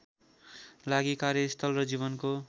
लागि कार्यस्थल र जीवनको